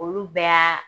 Olu bɛɛ y'a